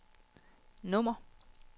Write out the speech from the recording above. nummer